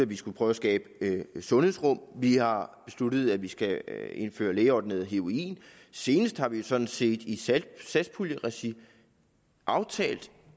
vi skal prøve at skabe sundhedsrum vi har besluttet at vi skal indføre lægeordineret heroin og senest har vi jo sådan set i satspuljeregi aftalt